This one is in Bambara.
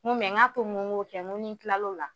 N ko a to n ko kɛ ni kilalo la.